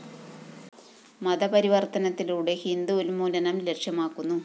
മതപരിവര്‍ത്തനത്തിലൂടെ ഹിന്ദു ഉന്മൂലനം ലക്ഷ്യമാക്കുന്നു